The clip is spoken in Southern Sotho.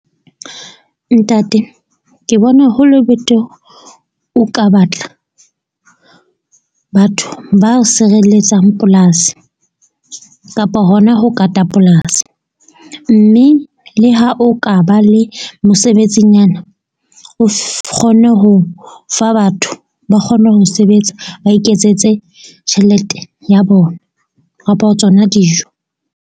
Ntate ke bona hole betere o ka batla batho ba o sireletsang polasi kapa hona ho kata polasi. Mme le ha o ka ba le mosebetsinyana, o kgone ho fa batho ba kgone ho sebetsa, ba iketsetse tjhelete ya bona kapo tsona dijo.